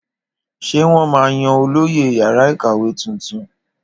Ṣé wọn máa yan olóyè yàrá ìkàwé tuntun?